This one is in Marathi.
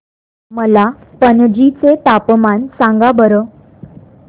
मला पणजी चे तापमान सांगा बरं